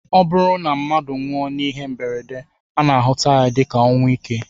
Ọ bụrụ na mmadụ nwụọ n'ihe mberede, a na-ahụta ya dịka ọnwụ ike